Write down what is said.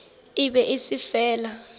e be e se fela